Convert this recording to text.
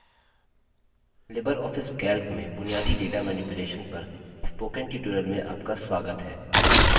libreoffice calc में बुनियादी data manipulation पर spoken tutorial में आपका स्वागत है